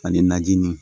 Ani najini